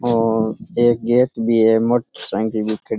और एक गेट भी है मोटर साइकिल ख --